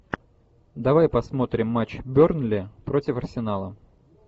давай посмотрим матч бернли против арсенала